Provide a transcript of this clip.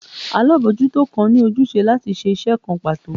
alabojuto kan ni ojúsẹ latí ṣe iṣẹ kán pato